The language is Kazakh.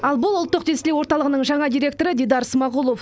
ал бұл ұлттық тестілеу орталығының жаңа директоры дидар смағұлов